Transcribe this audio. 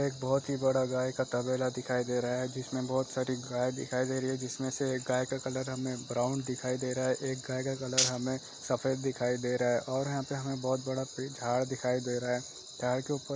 एक बहुत ही बड़ा गाय का तबेला दिखाई दे रहा है जिसमें बहुत सारी गाय दिखाई दे रही है जिसमें से एक गाय का कलर हमें ब्राउन दिखाई दे रहा है एक गाय का कलर हमें सफेद दिखाई दे रहा है और यहाँ पर हमें बहुत बड़ा पेड़ झाड़ दिखाई दे रहा है झाड़ी के ऊपर --